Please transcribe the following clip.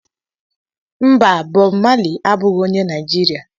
Mba, Bob Maley abụghị onye Nigeria.